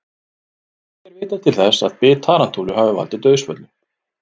Ekki er vitað til þess að bit tarantúlu hafi valdið dauðsföllum.